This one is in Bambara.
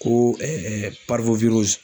Ko